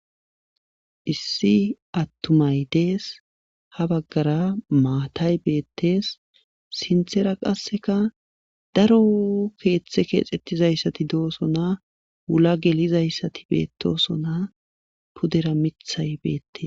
Issi atumay dees. ha baggara maatay beetees. sinthera qasse daro keeththe keexetidayssati doosona. wula gelidayssati beetosona pudera miththay betees.